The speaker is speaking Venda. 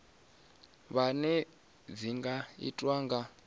vhuṋe dzi nga itwa nga